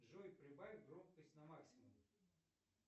джой прибавь громкость на максимум